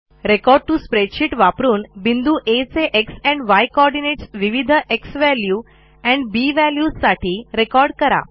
record टीओ Spreadsheetवापरून बिंदू आ चे एक्स एंड य कोऑर्डिनेट्स विविध झ्वॅल्यू एंड बी valuesसाठी रेकॉर्ड करा